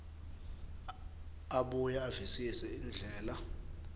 abuye avisise indlela